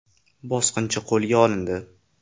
Bosqinchi qo‘lga olindi.